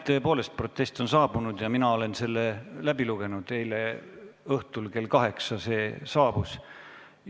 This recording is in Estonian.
Tõepoolest, protest on saabunud – eile õhtul kell 20 saabus – ja mina olen selle läbi lugenud.